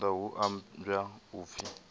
venḓa hu ambwa u pfi